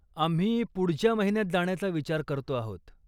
आम्ही पुढच्या महिन्यात जाण्याचा विचार करतो आहोत.